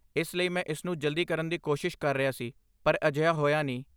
ਇਸ ਲਈ ਮੈਂ ਇਸਨੂੰ ਜਲਦੀ ਕਰਨ ਦੀ ਕੋਸ਼ਿਸ਼ ਕਰ ਰਿਹਾ ਸੀ ਪਰ ਅਜਿਹਾ ਹੋਇਆ ਨਹੀਂ।